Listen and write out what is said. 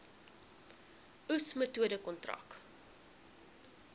oes metode kontrak